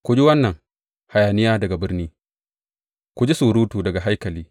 Ku ji wannan hayaniya daga birni, ku ji surutu daga haikali!